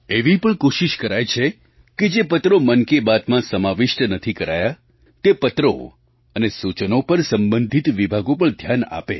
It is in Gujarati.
એવી પણ કોશિશ કરાય છે કે જે પત્રો મન કી બાતમાં સમાવિષ્ટ નથી કરાયા તે પત્રો અને સૂચનો પર સંબંધિત વિભાગો પણ ધ્યાન આપે